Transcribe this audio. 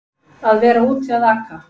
Að vera úti að aka